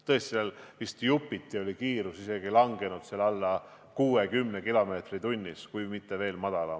Tõesti, seal oli kiirus vist jupiti kahanenud isegi alla 60 km/h, kui mitte veel rohkem.